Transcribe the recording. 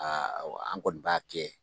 Aa an kɔni b'a kɛ